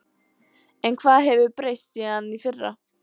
En hvað hefur breyst síðan í fyrra?